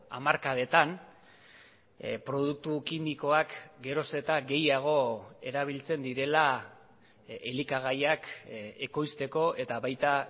hamarkadetan produktu kimikoak geroz eta gehiago erabiltzen direla elikagaiak ekoizteko eta baita